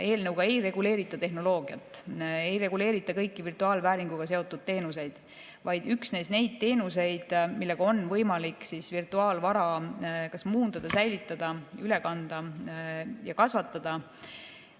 Eelnõuga ei reguleerita tehnoloogiat, ei reguleerita kõiki virtuaalvääringuga seotud teenuseid, vaid üksnes neid teenuseid, millega on võimalik virtuaalvara muundada, säilitada, üle kanda ja kasvatada.